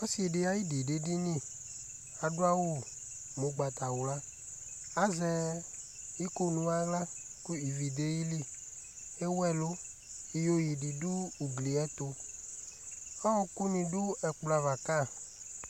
Ɔsɩ ɖɩ aƴɩɖɩ ɖʋ eɖiniTa ɖʋ awʋ ʋgbatawlaTa zɛ iƙo nʋ aɣla ivi ɖʋ aƴiliEwu ɛlʋ, iyeƴe ɖɩ ɖʋ ugli ƴɛ tʋ,ɔƙʋ nɩ ɖʋ ɛƙplɔ ava ƙa